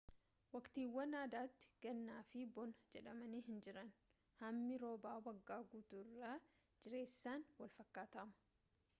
waqtiiwwan addatti ganna fi bona jedhaman hinjiran hammi roobaa waggaa guutuu irra jireessaan walfakkaataama